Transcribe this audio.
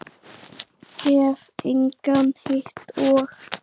Hef engan hitt og.